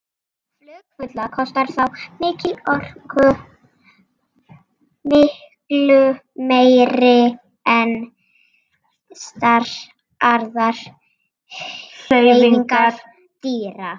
Flug fugla kostar þá mikla orku, miklu meiri en flestar aðrar hreyfingar dýra.